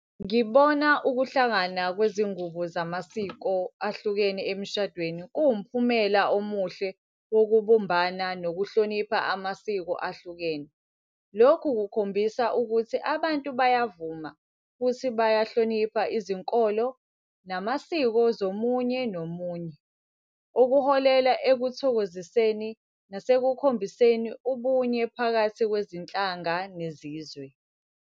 Ngibona ukuhlangana kwezingubo zamasiko ahlukene emshadweni kuwumphumela omuhle wokubumbana nokuhlonipha amasiko ahlukene. Lokhu kukhombisa ukuthi abantu bayavuma futhi bayahlonipha izinkolo namasiko zomunye nomunye. Okuholela ekuthokoziseni nasekukhombiseni ubunye phakathi kwezinhlanga nezizwe.